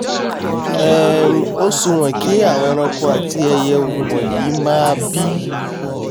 um ó súwọ̀n kí àwọn eranko àti ẹiyẹ wọ̀nyí máa bí